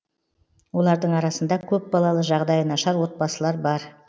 олардың арасында көпбалалы жағдайы нашар отбасылар бар